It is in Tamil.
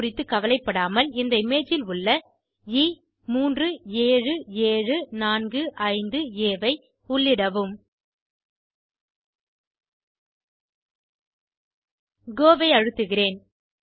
கோ ஐ அழுத்துகிறோம்